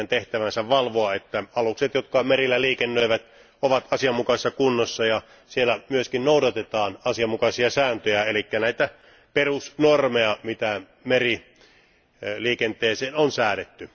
Niiden tehtävänä on valvoa, että alukset, jotka merillä liikennöivät, ovat asianmukaisessa kunnossa ja siellä myöskin noudatetaan asianmukaisia sääntöjä, eli näitä perusnormeja, mitä meriliikenteeseen on säädetty.